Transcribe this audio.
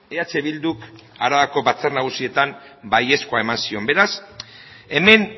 eh bilduk arabako batzar nagusietan baiezkoa eman zion beraz hemen